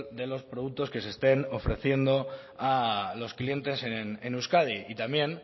de los productos que se estén ofreciendo a los clientes en euskadi y también